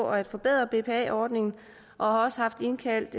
at forbedre bpa ordningen og har også haft indkaldt